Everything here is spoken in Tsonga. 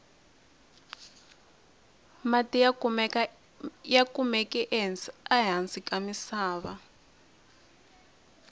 mati ya kamuke ehasi ka misava